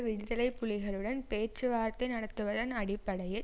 விடுதலை புலிகளுடன் பேச்சுவார்த்தை நடத்துவதன் அடிப்படையில்